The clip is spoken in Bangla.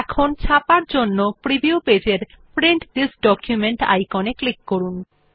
এখন ছাপার জন্য প্রিভিউ পেজ এর প্রিন্ট থিস ডকুমেন্ট আইকন এ ক্লিক করুন